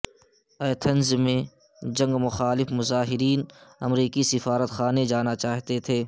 Athens میں جنگ مخالف مظاہرین امریکی سفارتخانے جانا چاہتے تھے